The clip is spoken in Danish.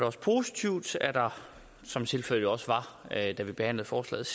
også positivt at der som tilfældet jo også var da vi behandlede forslaget